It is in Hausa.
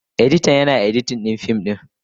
Editan, Yana editin fim din.